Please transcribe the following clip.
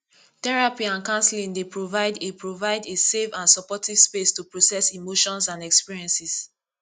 therapy and counseling dey provide a provide a safe and supportive space to process emotions and experiences